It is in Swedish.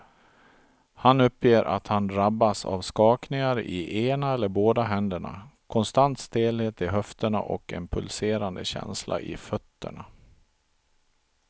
Han uppger att han drabbas av skakningar i ena eller båda händerna, konstant stelhet i höfterna och en pulserande känsla i fötterna.